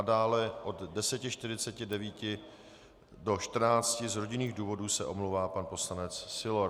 A dále od 10.49 do 14 z rodinných důvodů se omlouvá pan poslanec Sylor.